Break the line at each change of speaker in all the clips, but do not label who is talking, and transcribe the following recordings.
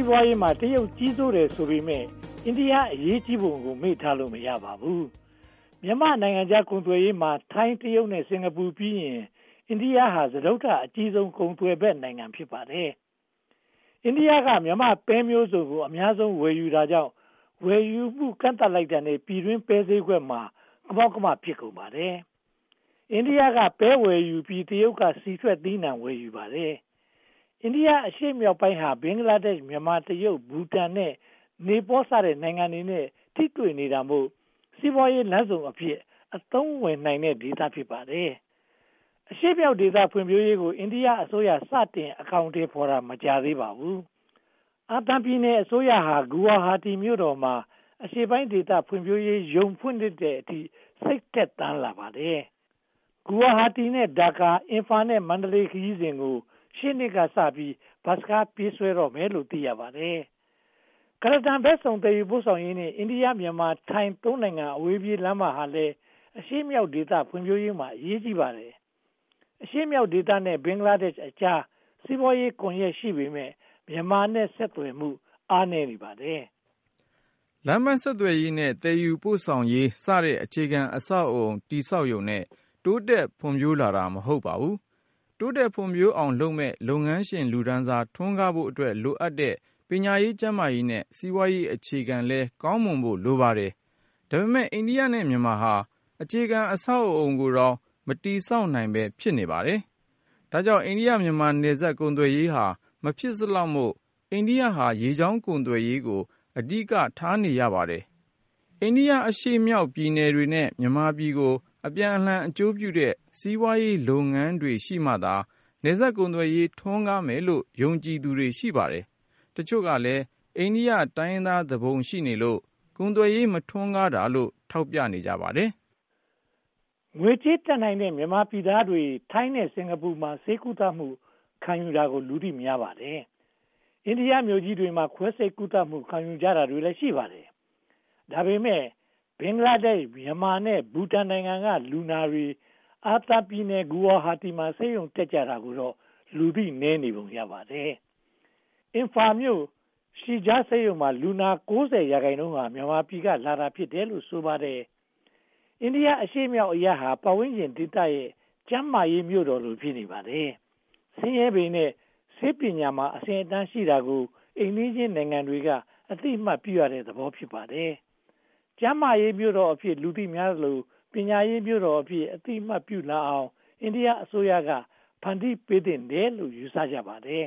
ီးပွားရေးမှာ တရုတ်ကြီးစိုးတယ်ဆိုပေမယ့် အိန္ဒိယ အရေးကြီးပုံကိုလည်း မေ့ထားလို့ မရပါဘူး။ မြန်မာ့နိုင်ငံခြားကုန်သွယ်ရေးမှာ ထိုင်း၊ တရုတ်နဲ့ စင်္ကာပူပြီးရင် အိန္ဒိယဟာ စတုတ္ထအကြီးဆုံး ကုန်သွယ်ဘက်နိုင်ငံ ဖြစ်ပါတယ်။ အိန္ဒိယက မြန်မာ့ပဲမျိုးစုံကို အများဆုံး ဝယ်ယူနေတာကြောင့် ဝယ်ယူမှု ကန့်သတ်လိုက်တာနဲ့ ပြည်တွင်းပဲဈေးကွက် ကမောက်ကမ ဖြစ်ကုန်ပါတယ်။ အိန္ဒိယက ပဲဝယ်ယူပြီး တရုတ်က ဆီထွက်သီးနံှ ဝယ်ယူပါတယ်။ အိန္ဒိယအရှေ့မြောက်ပိုင်းဟာ ဘင်္ဂလားဒေ့ရှ်၊ မြန်မာ၊ တရုတ်၊ ဘူတန်၊ နီပေါလ်စတဲ့ နိုင်ငံတွေနဲ့ ထိတွေ့နေတာမို့ စီးပွားရေးလမ်းဆုံအဖြစ် အသုံးဝင်နေတဲ့ဒေသ ဖြစ်ပါတယ်။ အရှေ့မြောက်ဒေသ ဖွံ့ဖြိုးရေးကို အိန္ဒိယအစိုးရ စတင်အကောင်အထည်ဖော်တာ မကြာသေးပါဘူး။ အာသံပြည်နယ်အစိုးရဟာ ဂူဝါဟာတီမြို့တော်မှာ အရှေ့ပိုင်းဒေသ ဖွံ့ဖြိုးရေးရုံး ဖွင့်လှစ်တဲ့အထိ စိတ်ထက်သန်လာပါတယ်။ ဂူဝါဟာတီနဲ့ ဒါကာ၊ အင်ဖာနဲ့ မန္တလေး ခရီးစဉ်ကို ရှေ့နှစ်ကစပြီး ဘတ်စ်ကား ပြေးဆွဲတော့မယ်လို့ သိရပါတယ်။ ကုလားတန်ဘက်စုံ သယ်ယူပို့ဆောင်ရေးနဲ့ အိန္ဒိယ-မြန်မာ-ထိုင်း နိုင်ငံ အဝေးပြေးလမ်းမဟာလည်း အရှေ့မြောက်ဒေသ ဖွံ့ဖြိုးရေးမှာ အရေးကြီးပါတယ်။ အရှေ့မြောက်ဒေသနဲ့ ဘင်္ဂလားဒေ့ရှ်အကြား စီးပွားရေးကွန်ရက်ရှိပေမယ့် မြန်မာနဲ့ ဆက်သွယ်မှု အားနည်းနေပါတယ်
။ လမ်းပန်းဆက်သွယ်ရေး နဲ့ သယ်ယူပို့ဆောင်ရေးစတဲ့ အခြေခံအဆောက်အအုံ တည်ဆောက်ရုံနဲ့ တိုးတက်ဖွံ့ဖြိုးလာတာ မဟုတ်ပါဘူး။ တိုးတက်ဖွံ့ဖြိုးအောင်လုပ်မယ့် လုပ်ငန်းရှင် လူတန်းစား ထွန်းကားဖို့အတွက် လိုအပ်တဲ့ ပညာရေး၊ ကျန်းမာရေးနဲ့ စီးပွားရေး အခြေခံလည်း ကောင်းမွန်ဖို့ လိုပါတယ်။ ဒါပေမဲ့ အိန္ဒိယနဲ့ မြန်မာဟာ အခြေခံအဆောက်အအုံကိုတောင် မတည်ဆောက်နိုင်ဘဲ ဖြစ်နေပါတယ်။ ဒါကြောင့် အိန္ဒိယ-မြန်မာ နယ်စပ် ကုန်သွယ်ရေးဟာ မဖြစ်စလောက်မို့ အိန္ဒိယ က ရေကြောင်းကုန်သွယ်ရေးကို အဓိကထားနေရပါတယ်။ အိန္ဒိယအရှေ့မြောက်ပြည်နယ်တွေနဲ့ မြန်မာပြည်ကို အပြန်အလှန် အကျိုးပြုတဲ့ စီးပွားရေးလုပ်ငန်းတွေရှိမှသာ နယ်စပ်ကုန်သွယ်ရေး ထွန်းကားမယ်လို့ ယုံကြည်သူတွေ ရှိပါတယ်။ တချို့ကလည်း အိန္ဒိယ တိုင်းရင်းသားသူပုန်ရှိနေလို့ ကုန်သွယ်ရေး မထွန်းကားတာလို့ ထောက်ပြကြပါတယ်
။ ငွေကြေးတတ်နိုင်တဲ့ မြန်မာနိုင်ငံသားတွေ ထိုင်းနဲ့ စင်္ကာပူမှာ ဆေးကုသမှု ခံယူတာကို လူသိများပါတယ်။ အိန္ဒိယမြို့ကြီးတွေမှာ ခွဲစိတ်ကုသမှု ခံယူကြတာတွေလည်း ရှိပါတယ်။ ဒါပေမဲ့ ဘင်္ဂလားဒေ့ရှ်၊ မြန်မာ နဲ့ ဘူတန်နိုင်ငံက လူနာတွေ အာသံပြည်နယ်၊ ဂူဝါဟာတီမှာ ဆေးရုံတက်ကြတာကိုတော့ လူသိနည်းပုံ ရပါတယ်။ အင်ဖာလ်မြို့ ရှီဂျားဆေးရုံမှာ လူနာ ရာခိုင်နှုန်းဟာ မြန်မာပြည်ကလာတာ ဖြစ်တယ်လို့ ဆိုကြပါတယ်။ အိန္ဒိယအရှေ့မြောက်အရပ်ဟာ ပတ်ဝန်းကျင်ဒေသရဲ့ ကျန်းမာရေးမြို့တော်လို ဖြစ်နေပါတယ်။ ဆင်းရဲပေမယ့် ဆေးပညာမှာ အဆင့်အတန်းရှိတာကို အိမ်နီးချင်းနိုင်ငံတွေက အသိအမှတ်ပြုရတဲ့သဘော ဖြစ်ပါတယ်။ ကျန်းမာရေးမြို့တော်အဖြစ် လူသိများသလို ပညာရေးမြို့တော်အဖြစ် အသိအမှတ်ပြုလာအောင် အိန္ဒိယအစိုးရက ဖန်တီးပေးသင့်တယ်လို့ ယူဆကြပါတယ်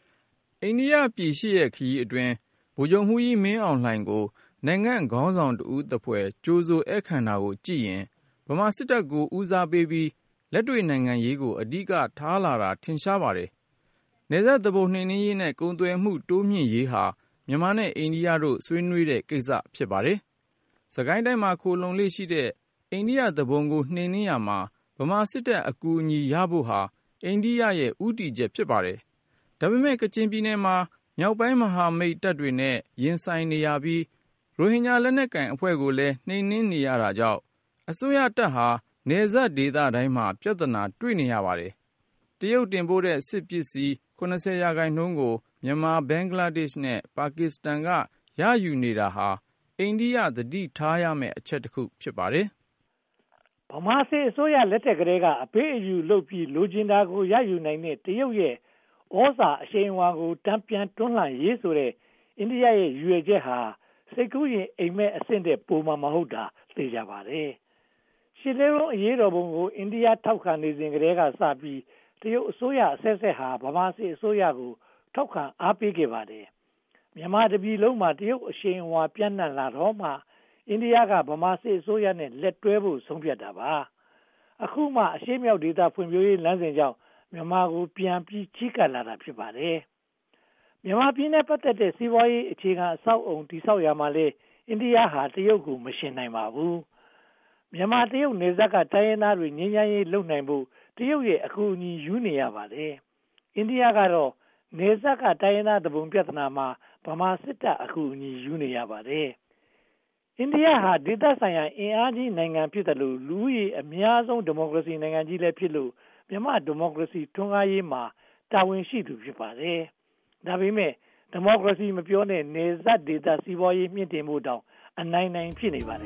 ။
အိန္ဒိယပြည် ရှစ်ရက်ခရီးအတွင်း ဗိုလ်ချုပ်မှူးကြီးမင်းအောင်လှိုင်ကို နိုင်ငံ့ခေါင်းဆောင်တဦးသဖွယ် ကြိုဆိုဧည်ခံတာကိုကြည့်ရင် ဗမာစစ်တပ်ကို ဦးစားပေးပြီး လက်တွေ့နိုင်ငံရေးကို အဓိကထားလာတာ ထင်ရှားပါတယ်။ နယ်စပ်သူပုန် နှိမ်နင်းရေးနဲ့ ကုန်သွယ်မှု တိုးမြှင့်ရေးဟာ မြန်မာနဲ့ အိန္ဒိယတို့ ဆွေးနွေးတဲ့ကိစ္စ ဖြစ်ပါတယ်။ စစ်ကိုင်းတိုင်းမှာ ခိုလှုံလေ့ရှိတဲ့ အိန္ဒိယသူပုန် နှိမ်နင်းရာမှာ ဗမာစစ်တပ်အကူအညီရဖို့ဟာ အိန္ဒိယရဲ့ ဦးတည်ချက် ဖြစ်ပါတယ်။ ဒါပေမဲ့ ကချင်ပြည်နယ်မှာ မြောက်ပိုင်းမဟာမိတ်တပ်တွေနဲ့ ရင်ဆိုင်နေရပြီး ရိုဟင်ဂျာ လက်နက်ကိုင်အဖွဲ့ကိုလည်း နှိမ်နင်းနေရတာကြောင့် အစိုးရတပ်ဟာ နယ်စပ်ဒေသတိုင်းမှာ ပြဿနာ တွေ့နေရပါတယ်။ တရုတ်တင်ပို့တဲ့ စစ်ပစ္စည်း ရာခိုင်နှုန်းကို မြန်မာ၊ ဘင်္ဂလားဒေ့ရှ် နဲ့ ပါကစ္စတန်တို့က ရယူနေတာဟာ အိန္ဒိယ သတိထားရမယ့်အချက်တခု ဖြစ်ပါတယ်
။ ဗမာစစ်အစိုးရလက်ထက်ကတည်းက အပေးအယူလုပ်ပြီး လိုချင်တာကို ရယူနိုင်တဲ့ တရုတ်ရဲ့ သြဇာအရှိန်အဝါကို တန်ပြန်တွန်းလှန်ရေးဆိုတဲ့ အိန္ဒိယရဲ့ ရည်ရွယ်ချက်ဟာ စိတ်ကူးယဉ် အိပ်မက်အဆင့်ထက် ပိုမှာမဟုတ်တာ သေချာပါတယ်။ ရှစ်လေးလုံး အရေးတော်ပုံကို အိန္ဒိယ ထောက်ခံနေစဉ်ကတည်းကစပြီး တရုတ်အစိုးရအဆက်ဆက်ဟာ ဗမာစစ်အစိုးရကို ထောက်ခံအားပေးခဲ့ပါတယ်။ မြန်မာတပြည်လုံးမှာ တရုတ် အရှိန်အဝါ ပျံ့နံှ့လာတော့မှ အိန္ဒိယက ဗမာစစ်အစိုးရနဲ့ လက်တွဲဖို့ ဆုံးဖြတ်တာပါ။ အခုမှ အရှေ့မြောက်ဒေသ ဖွံ့ဖြိုးရေးလမ်းစဉ်ကြောင့် မြန်မာပြည်ကိုပြန်ပြီး ချဉ်းကပ်လာတာ ဖြစ်ပါတယ်။ မြန်မာပြည်နဲ့ ပတ်သက်တဲ့ စီးပွားရေးအခြေခံ အဆောက်အအုံ တည်ဆောက်ရာမှာလည်း အိန္ဒိယဟာ တရုတ်ကို မယှဉ်နိုင်ပါဘူး။ မြန်မာ-တရုတ် နယ်စပ်က တိုင်းရင်းသားတွေနဲ့ ငြိမ်းချမ်းရေးလုပ်နိုင်ဖို့ တရုတ်ရဲ့ အကူအညီရယူနေရပါတယ်။ အိန္ဒိယကတော့ နယ်စပ်က တိုင်းရင်းသားသူပုန် ပြဿနာမှာ ဗမာစစ်တပ်အကူအညီ ရယူနေရပါတယ်။ အိန္ဒိယဟာ ဒေသဆိုင်ရာ အင်အားကြီးနိုင်ငံဖြစ်သလို လူဦးရေ အများဆုံး ဒီမိုကရေစီနိုင်ငံကြီးလည်းဖြစ်လို့ မြန်မာ့ဒီမိုကရေစီ ထွန်းကားရေးမှာ တာဝန်ရှိသူ ဖြစ်ပါတယ်။ ဒါပေမဲ့ ဒီမိုကရေစီ မပြောနဲ့ နယ်စပ်ဒေသ စီးပွားရေးမြှင့်တင်ဖို့တောင် အနိုင်နိုင် ဖြစ်နေပါတယ်